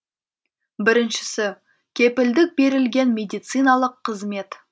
біріншісі кепілдік берілген медициналық қызмет